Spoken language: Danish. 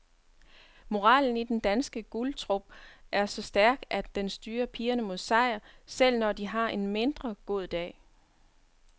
Moralen i den danske guldtrup er så stærk, at den styrer pigerne mod sejr, selv når de har en mindre god dag.